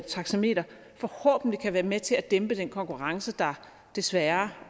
taxameter forhåbentlig kan være med til at dæmpe den konkurrence der desværre